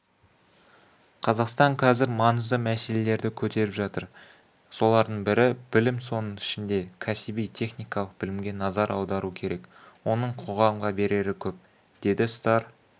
қазақстан қазір маңыздымәселелерді көтеріп жатыр солардың бірі білім соның ішінде кәсби-техникалық білімге назар аудару керек оның қоғамға берері көп деді старр